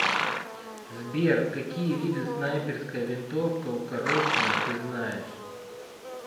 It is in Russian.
сбер какие виды снайперская винтовка укороченная ты знаешь